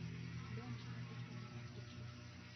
Mbĩa nĩ ciathũkia mbembe ciake.